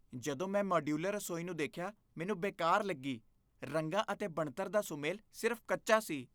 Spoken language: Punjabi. ਜਦੋਂ ਮੈਂ ਮਾਡਿਊਲਰ ਰਸੋਈ ਨੂੰ ਦੇਖਿਆ, ਮੈਨੂੰ ਬੇਕਾਰ ਲੱਗੀ , ਰੰਗਾਂ ਅਤੇ ਬਣਤਰ ਦਾ ਸੁਮੇਲ ਸਿਰਫ਼ ਕੱਚਾ ਸੀ।